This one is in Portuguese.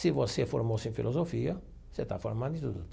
Se você formou-se em filosofia, você está formado em tudo.